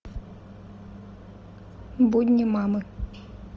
будни мамы